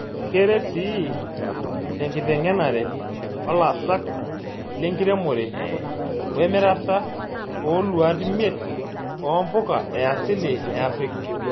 Keret sii tenkiteng'enare olasak lenkiremore wemirata ooluat miet oo mpuka easili eafrika.